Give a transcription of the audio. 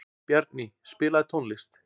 Bjarný, spilaðu tónlist.